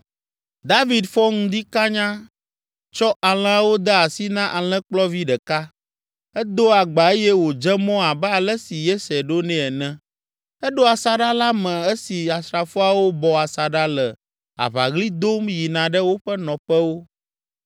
David fɔ ŋdi kanya, tsɔ alẽawo de asi na alẽkplɔvi ɖeka. Edo agba eye wòdze mɔ abe ale si Yese ɖo nɛ ene. Eɖo asaɖa la me esi asrafoawo bɔ asaɖa le aʋaɣli dom yina ɖe woƒe nɔƒewo.